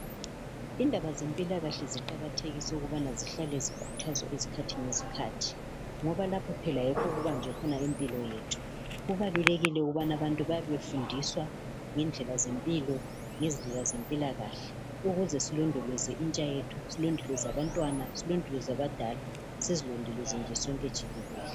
Indaba zempilakahle ziqakathekiswa ukubana zihlale zikuthazwa izisikhathi lezikhathi ngoba lapho phela okubajwe khona Impilo yethu. Kubalulekile ukuthi abantu babefundiswa ngendlela zempilo ngendlela zempilakahle ukuze silondoloze intsha yethu silondoloze abantwana silondoloze abadala silondoloze sonke nje jikelele.